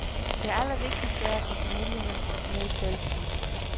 Det allervigtigste er at få familierne med selv. punktum